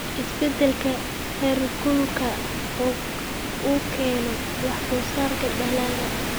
Isbeddelka heerkulka uu keeno wax soo saarka dalagga.